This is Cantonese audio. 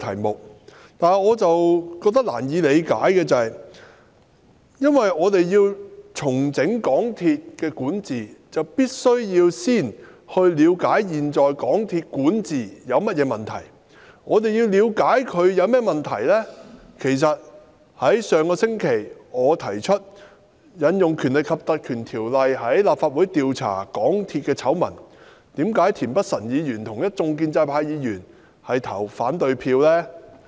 然而，我覺得難以理解的是，我們要重整香港鐵路有限公司管治，便必須先了解現時港鐵公司管治有甚麼問題；而要了解港鐵公司管治有甚麼問題，可從我在上星期提出引用《立法會條例》調查港鐵醜聞得知，為何田北辰議員及一眾建制派議員卻投下反對票呢？